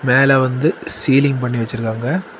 மேல வந்து சீலிங் பண்ணி வச்சிருக்காங்க.